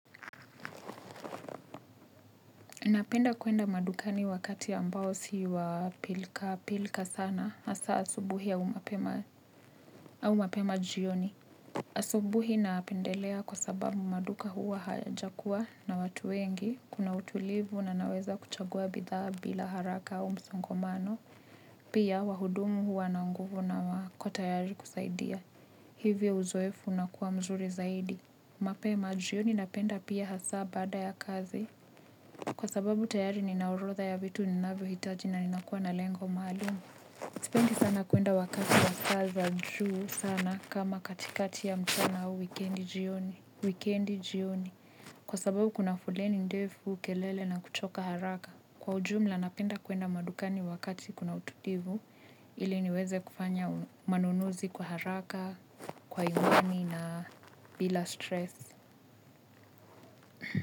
Napenda kwenda madukani wakati ambao si wa pilkapilka sana, hasa asubuhi au mapema jioni. Asubuhi napendelea kwa sababu maduka huwa hayajakuwa na watu wengi, kuna utulivu na naweza kuchagua bidhaa bila haraka au msongamano. Pia wahudumu huwa na nguvu na wako tayari kusaidia. Hivyo uzoefu unakuwa mzuri zaidi. Mapema, jioni napenda pia hasa baada ya kazi. Kwa sababu tayari ninaorodha ya vitu ninavyohitaji na ninakuwa na lengo maalumu. Sipendi sana kuenda wakati wa saa za juu sana, kama katikati ya mchana au wikendi jioni. Wikendi jioni. Kwa sababu kuna foleni ndefu, kelele na kuchoka haraka. Kwa ujumla napenda kwenda madukani wakati kuna utulivu, ili niweze kufanya manunuzi kwa haraka, kwa imani na bila stresi.